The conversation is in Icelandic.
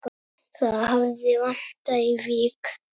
Það hafi vantað í Vík.